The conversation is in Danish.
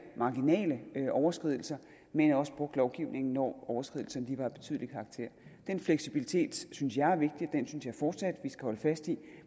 marginale overskridelser men også brugt lovgivningen når overskridelserne var af betydelig karakter den fleksibilitet synes jeg er vigtig og den synes jeg fortsat vi skal holde fast i